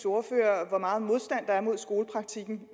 ordfører hvor meget modstand der er mod skolepraktikken